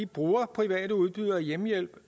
bruger private udbydere af hjemmehjælp